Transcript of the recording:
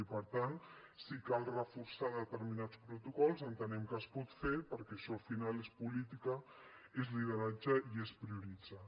i per tant si cal reforçar determinats protocols entenem que es pot fer perquè això al final és política és lideratge i és prioritzar